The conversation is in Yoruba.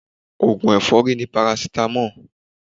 Oògùn èfọ́rí ni paracetamol.